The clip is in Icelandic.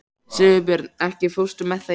Sigurbjörn, ekki fórstu með þeim?